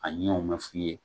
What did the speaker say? A ɲɛw mɛ f'i ye.